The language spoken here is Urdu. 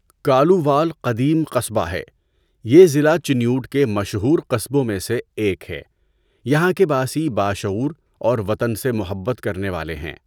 کالووال قدیم قصبہ ہے۔ یہ ضلع چنیوٹ کے مشہور قصبوں میں سے ایک ہے۔ یہاں کے باسی باشعوُر اور وطن سے محبّت کرنے والے ہیں۔